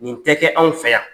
Nin tɛ kɛ anw fɛ yan.